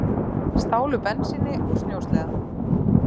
Stálu bensíni úr snjósleða